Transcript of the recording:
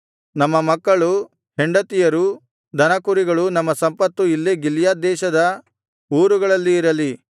ನಮ್ಮ ಮಕ್ಕಳು ಹೆಂಡತಿಯರೂ ದನಕುರಿಗಳು ನಮ್ಮ ಸಂಪತ್ತು ಇಲ್ಲೇ ಗಿಲ್ಯಾದ್ ದೇಶದ ಊರುಗಳಲ್ಲಿ ಇರಲಿ